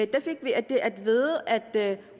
der fik vi at vide at